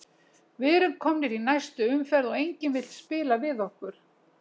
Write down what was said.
Við erum komnir í næstu umferð og enginn vill spila við okkur.